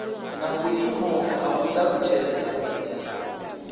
na vhuimo ha u talutshedza